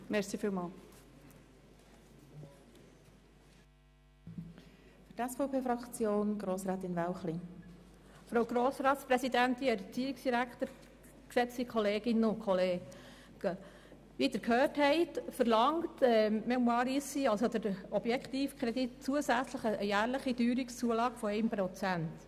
Wie Sie gehört haben, verlangt der Objektkredit für die «Fondation Mémoires d’Ici» zusätzlich einen Teuerungsausgleich von jährlich 1 Prozent.